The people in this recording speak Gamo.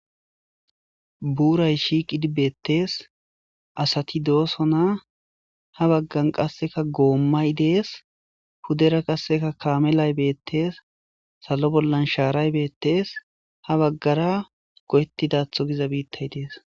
Buurray shiiqidii beettees asati doosonna ha baggan qasseka goommay dees puddera qasseka kaamelay beettees salo bollan shaaray beettees ha baggara goyettidatho giza biittay dees